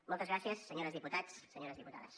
moltes gràcies senyors diputats senyores diputades